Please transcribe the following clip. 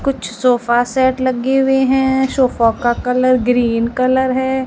कुछ sofa set लगे हुए हैं सोफो का कलर ग्रीन कलर है।